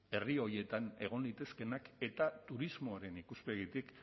herri horietan egon litezkeenak eta turismoaren ikuspegitik